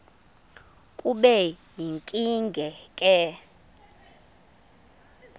kube yinkinge ke